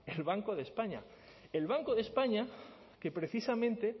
el banco de españa el banco de españa que precisamente